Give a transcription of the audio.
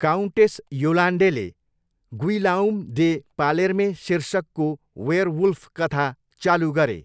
Countess योलान्डेले Guillaume de Palerme शीर्षकको werewolf कथा चालु गरे।